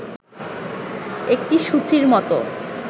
একটি সূচীর মত